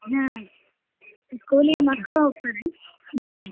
ಹ್ಮ್ school ಗ್ ಮಕ್ಳ್ ಹೋಗ್ತಾರ ಹ್ಮ್.